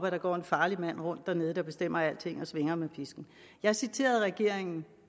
at der går en farlig mand rundt dernede der bestemmer alting og svinger med pisken jeg citerede regeringen